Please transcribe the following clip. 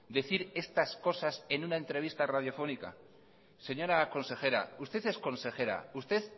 decir estas cosas en una entrevista radiofónica señora consejera usted es consejera usted